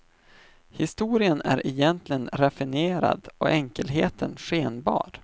Historien är egentligen raffinerad och enkelheten skenbar.